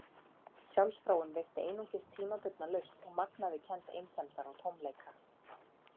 Sjálfsfróun veitti einungis tímabundna lausn og magnaði kennd einsemdar og tómleika.